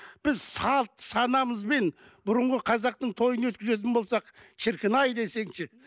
біз салт санамызбен бұрынғы қазақтың тойын өткізетін болсақ шіркін ай десеңші